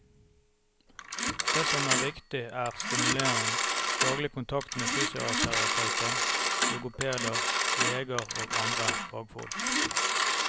Det som er viktig er stimulering, daglig kontakt med fysioterapeuter, logopeder, leger og andre fagfolk.